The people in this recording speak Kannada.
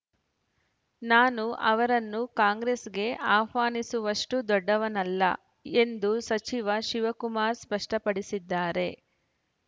ನಾನು ಅವರನ್ನು ಕಾಂಗ್ರೆಸ್‌ಗೆ ಆಹ್ವಾನಿಸುವಷ್ಟುದೊಡ್ಡವನಲ್ಲ ಎಂದು ಸಚಿವ ಶಿವಕುಮಾರ್‌ ಸ್ಪಷ್ಟಪಡಿಸಿದ್ದಾರೆ